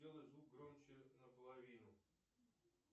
сделай звук громче наполовину